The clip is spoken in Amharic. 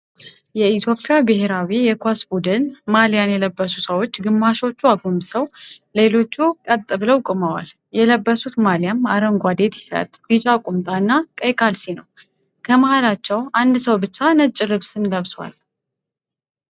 የኢትዮጵያ ብሄራዊ የኳስ ቡድን ማልያን የለበሱ ሰዎች ግማሾቹ አጎንብሰው ሌሎቹ ቀጥ ብለው ቆመዋል። የለበሱት ማልያም አረንጓዴ ቲሸርት፣ ቢጫ ቁምጣ እና ቀይ ካልሲ ነው። ከመሃላቸው አንድ ሰው ብቻ ነጭ ልብስን ለብሷል።